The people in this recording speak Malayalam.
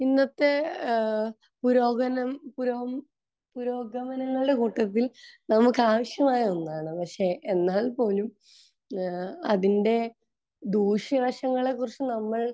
ഇന്നത്തെ ഏഹ് പുരോഗനം...പുരോ...പുരോഗമനങ്ങളുടെ കൂട്ടത്തിൽ നമുക്ക് ആവശ്യമായ ഒന്നാണ്. പക്ഷെ എന്നാൽ പോലും ഏഹ് അതിന്റെ ദൂഷ്യവശങ്ങളെക്കുറിച്ച് നമ്മൾ